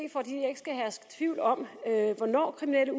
herske tvivl om hvornår kriminelle